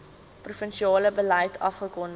provinsiale beleid afgekondig